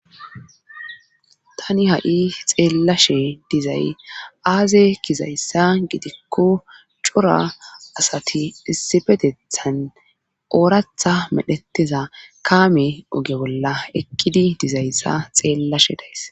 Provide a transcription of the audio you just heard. tani ha'i xeellashe dizay aaze gizayssa gidikko cora asati issifetethan ooratha medhetteza kaame oge bolla eqidi dizayssa xeellashe days